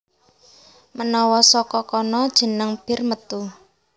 Menawa saka kono jeneng Bir metu